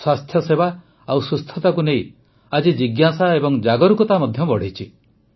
ସ୍ୱାସ୍ଥ୍ୟସେବା ଓ ସୁସ୍ଥତାକୁ ନେଇ ଆଜି ଜିଜ୍ଞାସା ଏବଂ ସଚେତନତା ମଧ୍ୟ ବଢ଼ିଛି